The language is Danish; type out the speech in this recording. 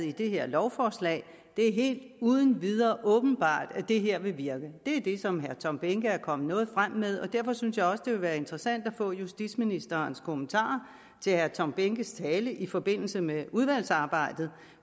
i det her lovforslag havde det helt og uden videre åbenbare at det her vil virke det er det som herre tom behnke er kommet frem med og derfor synes jeg også det kunne være interessant at få justitsministerens kommentarer til herre tom behnkes tale i forbindelse med udvalgsarbejdet